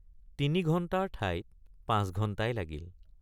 তিনিঘণ্টাৰ ঠাইত পাঁচ ঘণ্টাই লাগিল।